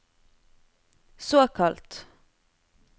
såkalt